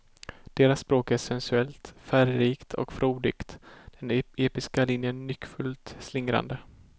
Deras språk är sensuellt, färgrikt och frodigt, den episka linjen nyckfullt slingrande.